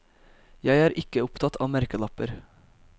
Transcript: Jeg er ikke opptatt av merkelapper.